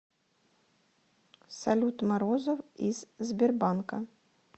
салют морозов из сбербанка